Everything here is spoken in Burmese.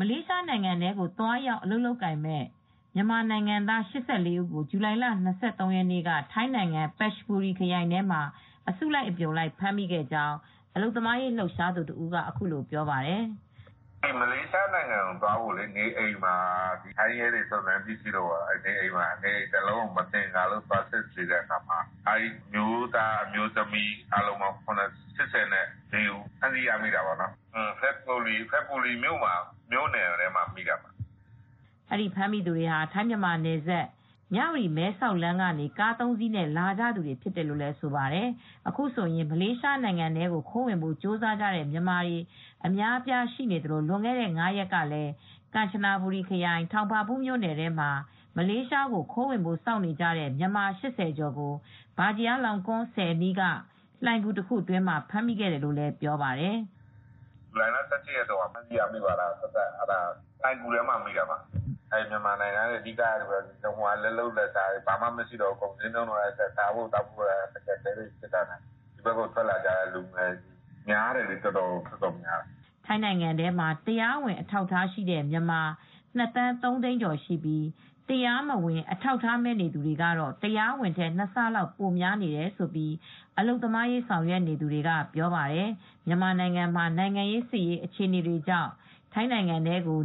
လေးရှားနိုင်ငံကို တရားမဝင် သွားရောက်အလုပ်လုပ်မဲ့ မြန်မာနိုင်ငံသား ၈၄ ဦးကို ဇူလိုင်လ ၂၃ ရက် နေ့က ထိုင်းနိုင်ငံ Phetchaburi ခရိုင်ထဲမှာ အစုလိုက်အပြုံလိုက်ဖမ်းမိခဲ့ကြောင်း အလုပ်သမားရေး လှုပ်ရှားသူတဦးက အခုလိုပြောပါတယ်။ “မလေးရှားနိုင်ငံကိုသွားဖို့အတွက် နေအိမ်မှာ ထိုင်းရဲတွေက နေအိမ်တလုံးကို မသင်္ကာလို့ သွား စစ်ဆေးတဲ့အခါမှာ အမျိုးသားနဲ့အမျိုးသမီး အားလုံးပေါင်း ၈၄ ဦး ဖမ်းဆီးရမိတာပေါ့ နော်။ Phetchaburi ထဲမှာ ဖမ်းမိတာပေါ့နော်။” ဒီဖမ်းမိသူတွေဟာ ထိုင်း-မြန်မာနယ်စပ် မြ၀တီ-မဲဆောက်လမ်းကနေ ကား ၃ စီးနဲ့လာကြသူတွေ ဖြစ်တယ်လို့လည်း ဆိုပါတယ်။ အခုဆိုရင် မလေးရှားနိုင်ငံထဲခိုးဝင်ဖို့ကြိုးစားတဲ့ မြန်မာတွေ အများအပြားရှိနေသလို လွန်ခဲ့တဲ့ ၅ ရက်ကလည်း ကန်ချနဘူရီခရိုင် ထောင်ပါဘူးမြို့နယ်ထဲမှာ မလေးရှားကိုခိုးဝင်ဖို့ စောင့်နေကြတဲ့မြန်မာ ၈၀ ကျော်ကိုလည်း ဗာဂျီရာလောင်ကွန်းဆည်အနီးက လှိုဏ်ဂူတခုအတွင်းမှာဖမ်းမိခဲ့တယ်လို့လည်းပြောပါတယ်။ “ဇူလိုင်လ ၁၈ ရက်နေ့က ဖမ်းမိတာက သပ်သပ်မိတာ။ အဲဒါကတော့ လှိုဏ်ဂူထဲမှာမိတာ။ မြန်မာနိုင်ငံကနေ လက်လုပ်လက်စားတွေက ကုန်စျေးနှုံးကတက်၊ ဘာမှ လုပ်ကိုင်စားသောက်ဖို့က မနိုင်တော့ ဒီဘက်ကိုထွက်လာကြတာများတယ်။” “ထိုင်းနိုင်ငံထဲမှာ တရားဝင်အထောက်အထားရှိတဲ့ မြန်မာ ၂ သန်း ၃ သိန်းကျော်ရှိပြီး တရားမဝင် အထောက်အထားမဲ့သူတွေကတော့ တရားဝင်ထက် ၂ ဆလောက်ပိုများတယ်လို့ အလုပ်သမားရေး ဆောင်ရွက်နေသူတွေကပြောပါတယ်။ မြန်မာနိုင်ငံမှာ နိုင်ငံရေး၊ စစ်ရေးအခြေအနေတွေကြောင့် မြန်မာနိုင်ငံသားတွေဟာ ထိုင်းနိုင်ငံထဲကို